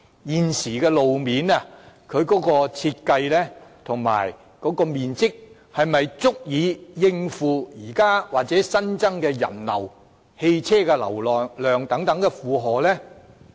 現時的路面設計和面積是否足以應付現時或新增的人流和車流呢？